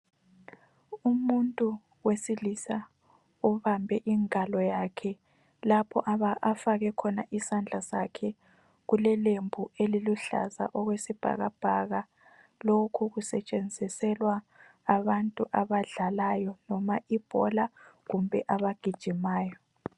Umuntu wesilisa obambe ingalo yakhe ,lapho afake khona isandla sakhe kulelembu eliluhlaza okwesibhakabhaka ,lokhu kusetshenziselwa abantu abadlalayo loba ibhola kumbe abagijimayo